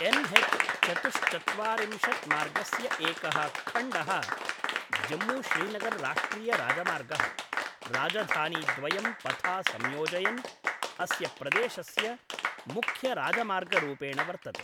एन्.एच्.चतुश्चत्वारिंशत् मार्गस्य एकः खण्डः जम्मू श्रीनगर् राष्ट्रिय राजमार्गः, राजधानीद्वयं पथा संयोजयन्, अस्य प्रदेशस्य मुख्य राजमार्गरूपेण वर्तते।